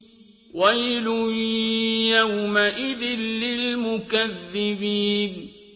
وَيْلٌ يَوْمَئِذٍ لِّلْمُكَذِّبِينَ